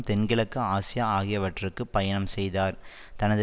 தென்கிழக்கு ஆசியா ஆகியவற்றுக்கு பயணம் செய்தார் தனது